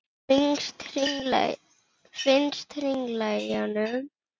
Finnst hringla í honum.